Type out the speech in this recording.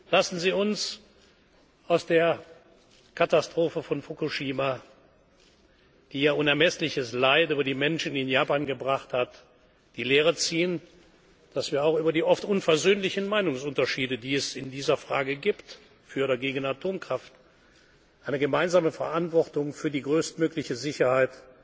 20 Ziele. Lassen Sie uns aus der Katastrophe von Fukushima, die unermessliches Leid über die Menschen in Japan gebracht hat, die Lehre ziehen, dass wir auch ungeachtet der oft unversöhnlichen Meinungsunterschiede, die es in dieser Frage gibt für oder gegen Atomkraft eine gemeinsame Verantwortung für die größtmögliche